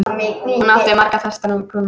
Hún átti marga fasta kúnna.